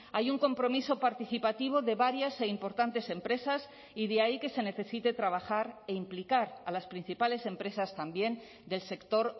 hay un compromiso participativo de varias e importantes empresas y de ahí que se necesite trabajar e implicar a las principales empresas también del sector